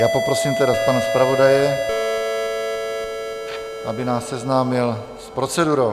Já poprosím tedy pana zpravodaje, aby nás seznámil s procedurou.